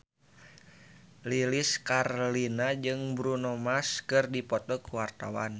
Lilis Karlina jeung Bruno Mars keur dipoto ku wartawan